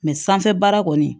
sanfɛ baara kɔni